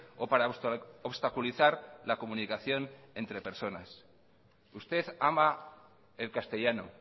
o para obstaculizar la comunicación entre personas usted ama el castellano